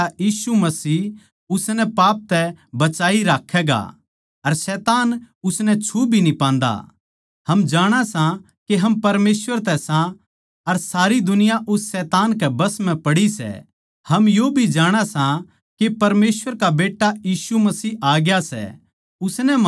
हम यो भी जाणा सां के परमेसवर का बेट्टा यीशु मसीह आ ग्या सै उसनै म्हारे ताहीं उस सच्चे परमेसवर नै पिच्छाणण की समझ दी सै के म्हारा परमेसवर का करीबी रिश्ता सै क्यूँके म्हारा उसके बेट्टे कै गेल्या करीबी रिश्ता सै सच्चा परमेसवर अर अनन्त जीवन योए सै